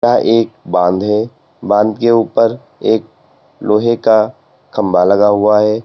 एक बांध है बांध के ऊपर एक लोहे का खंबा लगा हुआ है।